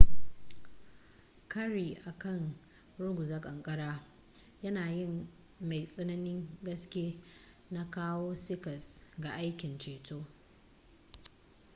kari akan ruguza kankara yanayin mai tsananin gaske na kawo cikas ga aikin ceto